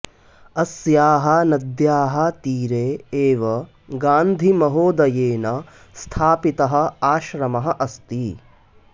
अस्याः नद्याः तीरे एव गान्धिमहोदयेन स्थापितः आश्रमः अस्ति